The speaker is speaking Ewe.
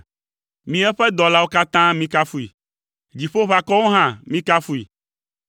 Mi eƒe dɔlawo katã mikafui, dziƒoʋakɔwo hã mikafui.